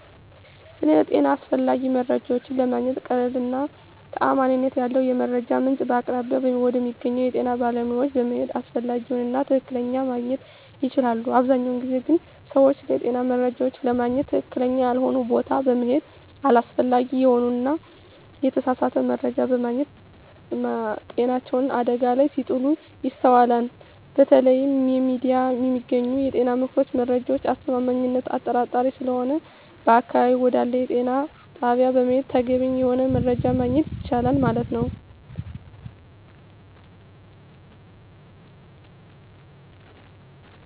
ስለ ጤና አስፈላጊ መረጃዎች ለማግኘት ቀላሉ እና ተአማኒነት ያለው የመረጃ ምንጭ በአቅራቢያው ወደሚገኘው የጤና ባለሙያዎች በመሄድ አስፈላጊውን እና ትክክለኛ ማግኝት ይቻላል አብዛኛውን ጊዜ ግን ሰወች ስለጤና መረጃዎች ለማግኝት ትክክለኛ ያልሆነ ቦታ በመሔድ አላስፈላጊ የሆነ እና የተሳሳተ መረጃ በማግኘት ማጤናቸውን አደጋ ላይ ሲጥሉ ይስተዋላል በተለያዩ የሚዲያ የሚገኙ የጤና ምክሮች መረጃዎች አስተማማኝነት አጣራጣሪ ሰለሆነ በአቅራቢያው ወደአለ የጤና ጣቢያ በመሔድ ተገቢ የሆነውን መረጃ ማግኘት የቻላል ማለት።